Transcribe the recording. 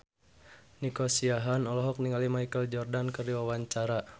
Nico Siahaan olohok ningali Michael Jordan keur diwawancara